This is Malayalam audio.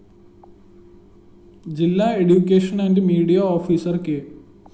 ജില്ലാ education and media officer K